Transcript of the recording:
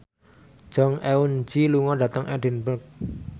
Jong Eun Ji lunga dhateng Edinburgh